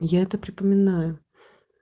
я это припоминаю